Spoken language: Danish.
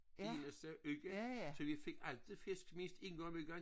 Eneste uge så vi fik altid fisk mindst en gang om ugen